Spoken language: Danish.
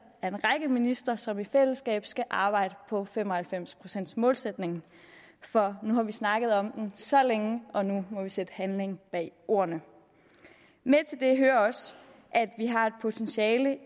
af en række ministre som i fællesskab skal arbejde på fem og halvfems procents målsætningen for nu har vi snakket om den så længe og nu må vi sætte handling bag ordene med til det hører også at vi har et potentiale